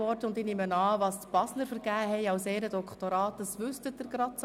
Welche Ehrendoktorate die Basler vergaben, wissen Sie vielleicht.